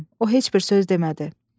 O heç bir söz demədi.